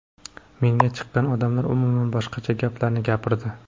Menga chiqqan odamlar umuman boshqa gaplarni gapirdi.